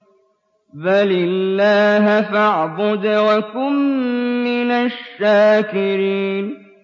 بَلِ اللَّهَ فَاعْبُدْ وَكُن مِّنَ الشَّاكِرِينَ